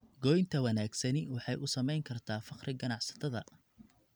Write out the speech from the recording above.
Goynta wanaagsani waxay u samayn kartaa farqi ganacsatada.